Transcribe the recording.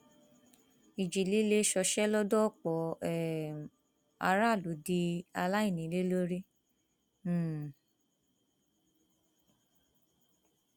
ìjì líle ṣọṣẹ lọdọ ọpọ um aráàlú di aláìnílé lórí um